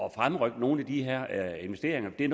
at fremrykke nogle af de her investeringer det er